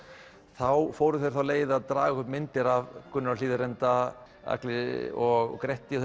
þá fóru þeir þá leið að draga upp myndir af Gunnari á Hlíðarenda Agli og Gretti